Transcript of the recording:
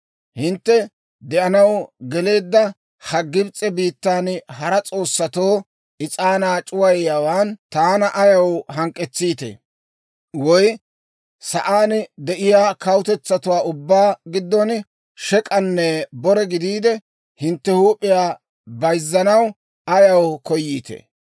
Hintte de'anaw geleedda ha Gibs'e biittan hara s'oossatoo is'aanaa c'uwayiyaawaan taana ayaw hank'k'etsiitee? Woy sa'aan de'iyaa kawutetsatuwaa ubbaa giddon shek'anne bore gidiide, hintte huup'iyaa bayzzanaw ayaw koyiitee?